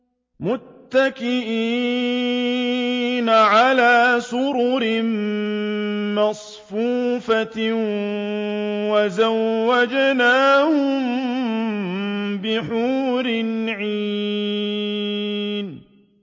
مُتَّكِئِينَ عَلَىٰ سُرُرٍ مَّصْفُوفَةٍ ۖ وَزَوَّجْنَاهُم بِحُورٍ عِينٍ